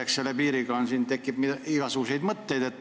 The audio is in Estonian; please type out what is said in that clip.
Eks selle piiriga seoses tekib igasuguseid mõtteid.